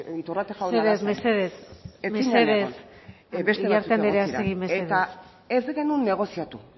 iturrate jauna ez zen egon eta ez genuen negoziatu uriarte andrea segi mesedez